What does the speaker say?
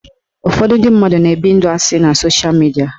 Ụfọdụ ndị mmadụ na-ebi ndụ asị na sosha midia